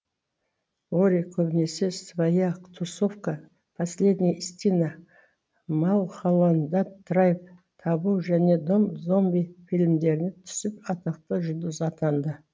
лори көбінесе своя тусовка последняя истина малхолланд драйв табу және дом зомби фильмдеріне түсіп атақты жұлдыз атанды